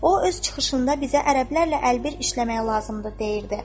O öz çıxışında bizə ərəblərlə əlbir işləməyə lazımdı deyirdi.